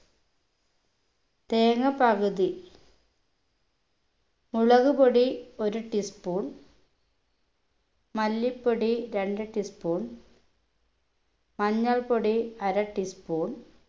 തേങ്ങ പകുതി മുളക് പൊടി ഒരു tea spoon മല്ലിപ്പൊടി രണ്ടു tea spoon മഞ്ഞൾപ്പൊടി അര teaspoon